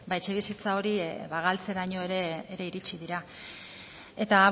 etxebizitza hori ba galtzeraino ere iritsi dira eta